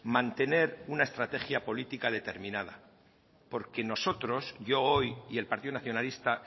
mantener una estrategia política determinada porque nosotros yo hoy y el partido nacionalista